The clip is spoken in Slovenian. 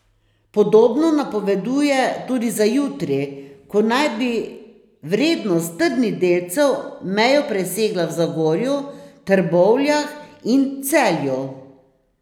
Podobno napoveduje tudi za jutri, ko naj bi vrednost trdnih delcev mejo presegla v Zagorju, Trbovljah in Celju.